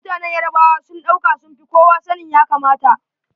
Mutanen Yarabawa sun ɗauka sun fi kowa sanin ya kamata.